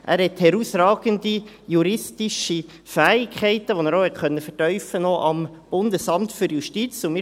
Er hat herausragende juristische Fähigkeiten, die er auch beim Bundesamt für Justiz noch vertiefen konnte.